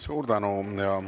Suur tänu!